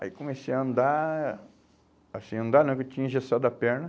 Aí comecei a andar, assim, a andar não, porque eu tinha engessado a perna.